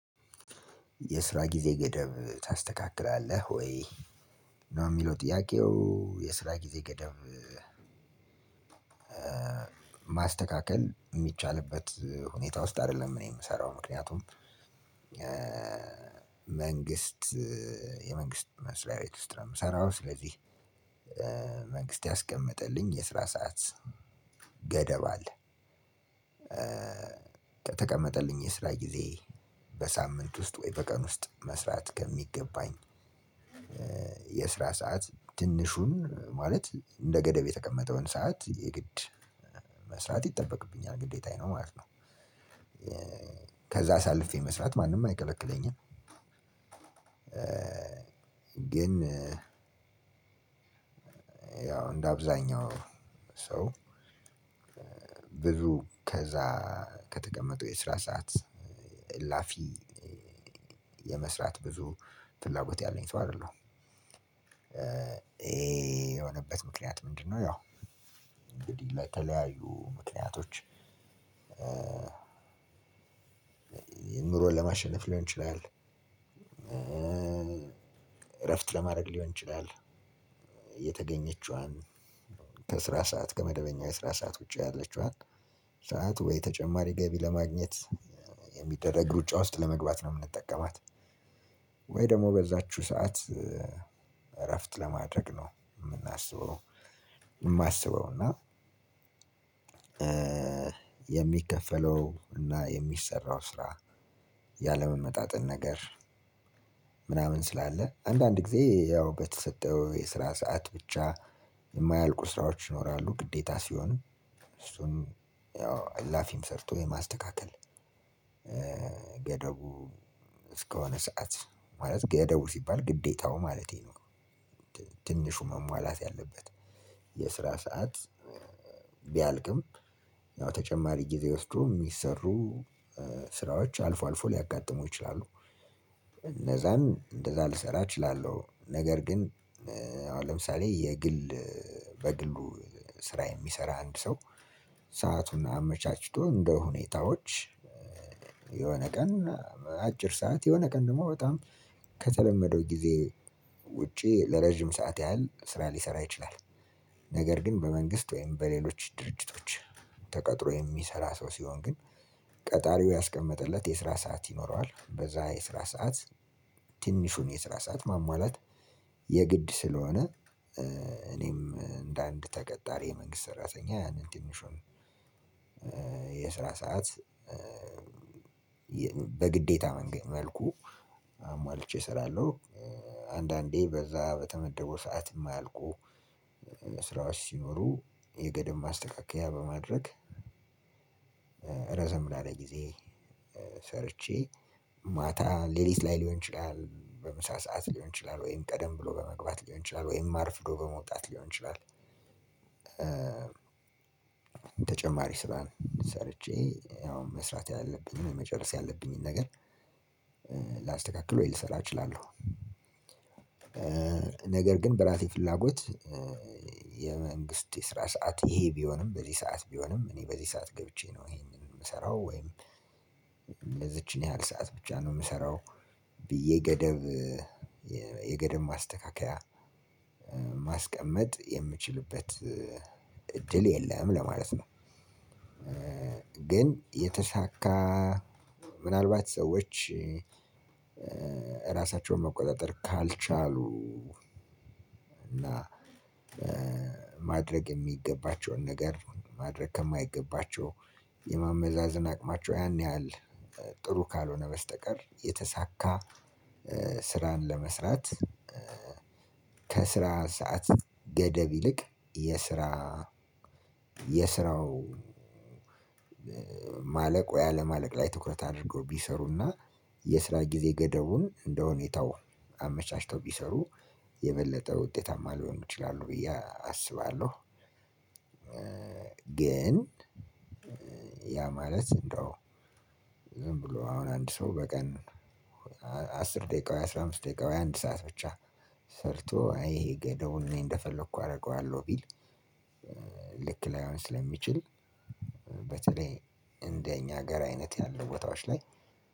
የስራ ጊዜ ገደብ ታስተካክላለህ ወይ ነው የሚለው ጥያቄው የስራ ጊዜ ገደብ? ማስተካከል የሚቻልበት ሁኔታ ውስጥ አይደለም እኔ የምሰራው ምክንያቱም። መንግስት የመንግስት መስሪያ ቤት ውስጥ ነው የምሰራው። ስለዚህ መንግስት ያስቀመጠልኝ የስራ ሰዓት ገደብ አለ። ከተቀመጠልኝ የስራ ጊዜ በሳምንት ውስጥ ወይ በቀን ውስጥ መስራት ከሚገባኝ የስራ ሰዓት ትንሹን ማለት እንደ ገደብ የተቀመጠውን ሰዓት የግድ መስራት ይጠበቅብኛል ግዴታዬ ነው ማለት ነው። ከዛ አሳልፌ መስራት ማንም አይከለክለኝም። ግን ያው እንደ አብዛኛው ሰው ብዙ ከዛ ከተቀመጠው የስራ ሰዓት እላፊ የመስራት ብዙ ፍላጎት ያለኝ ሰው አይደለሁም። ይሄ የሆነበት ምክንያት ምንድነው? ያው እንግዲህ ለተለያዩ ምክንያቶች። ይህን ኑሮን ለማሸነፍ ሊሆን ይችላል። እረፍት ለማድረግ ሊሆን ይችላል። የተገኘችዋን ከስራ ሰዓት ከመደበኛው የስራ ሰዓት ውጪ ያለችዋል ሰዓት ወይ ተጨማሪ ገቢ ለማግኘት የሚደረግ ሩጫ ውስጥ ለመግባት ነው የምንጠቀማት። ወይ ደግሞ በዛችው ሰዓት እረፍት ለማድረግ ነው የምናስበው። የማስበው እና የሚከፈለው እና የሚሰራው ስራ ያለመመጣጠን። ምናምን ስላለ አንዳንድ ጊዜ ያው በተሰጠው የስራ ሰዓት ብቻ የማያልቁ ስራዎች ይኖራሉ ግዴታ ሲሆኑ። እሱን ያው አላፊም ሰርቶ የማስተካከል ገደቡ እስከሆነ ሰዓት ማለት ገደቡ ሲባል ግዴታው ማለቴ ነው። ትንሹ መሟላት ያለበት የስራ ሰዓት ቢያልቅም ያው ተጨማሪ ጊዜ ወስዶ የሚሰሩ ስራዎች አልፎ አልፎ ሊያጋጥሙ ይችላሉ። እነዛን እንደዛ ልሰራ እችላለሁ ነገር ግን ለምሳሌ የግል በግሉ ስራ የሚሰራ አንድ ሰው ሰአቱን አመቻችቶ እንደሁኔታዎች የሆነ ቀን አጭር ሰዓት የሆነ ቀን ደግሞ በጣም ከተለመደው ጊዜ ውጪ ለረጅም ሰዓት ያህል ስራ ሊሰራ ይችላል። ነገር ግን በመንግስት ወይም በሌሎች ድርጅቶች ተቀጥሮ የሚሰራ ሰው ሲሆን ግን ቀጣሪው ያስቀመጠለት የስራ ሰዓት ይኖረዋል በዛ የስራ ሰዓት። ትንሹን የስራ ሰዓት ማሟላት የግድ ስለሆነ እኔም እንደ አንድ ተቀጣሪ የመንግስት ሰራተኛ ያንን ትንሹዋን የስራ ሰዓት በግዴታ መልኩ አሟልቼ እሰራለሁ። አንዳንዴ በዛ በተመደበው ሰዓት የማያልቁ ስራዎች ሲኖሩ የገደብ ማስተካከያ በማድረግ ረዘም ላለ ጊዜ ሰርቼ ማታ ሌሊት ላይ ሊሆን ይችላል በምሳ ሰዓት ሊሆን ይችላል ወይም ቀደም ብሎ በመግባት ሊሆን ይችላል ወይም አርፍዶ በመውጣት ሊሆን ይችላል። ተጨማሪ ስራን ሰርቼ ያው መስራት ያለብኝን መጨረስ ያለብኝን ነገር ላስተካክል ወይ ልሰራ እችላለሁ። ነገር ግን በራሴ ፍላጎት የመንግስት የስራ ሰዓት ይሄ ቢሆንም በዚህ ሰዓት ቢሆንም እኔ በዚህ ሰዓት ገብቼ ነው ይሄንን የምሰራው ወይም እነዚችን ያህል ሰዓት ብቻ ነው የምሰራው ብዬ ገደብ የገደብ ማስተካከያ ማስቀመጥ የምችልበት እድል የለም ለማለት ነው። ግን የተሳካ ምናልባት ሰዎች ራሳቸውን መቆጣጠር ካልቻሉ እና ማድረግ የሚገባቸውን ነገር ማድረግ ከማይገባቸው የማመዛዘን አቅማቸው ያን ያህል ጥሩ ካልሆነ በስተቀር የተሳካ ስራን ለመስራት። ከስራ ሰዓት ገደብ ይልቅ የስራ የስራው ማለቆ ወይ ለማለቅ ላይ ትኩረት አድርገው ቢሰሩና የስራ ጊዜ ገደቡን እንደሁኔታው አመቻችተው ቢሰሩ የበለጠ ውጤታማ ሊሆኑ ይችላሉ ብዬ አስባለሁ። ግን ያ ማለት እንደው ዝም ብሎ አሁን አንድ ሰው በቀን አስር ደቂቃ ወይ አስራ አምስት ደቂቃ ወይ አንድ ሰዓት ብቻ ሰርቶ አይ ገደቡን እኔ እንደፈለኩ አደርገዋለሁ ቢል ልክ ላይሆን ስለሚችል። በተለይ እንደኛ ሀገር አይነት ያሉ ቦታዎች ላይ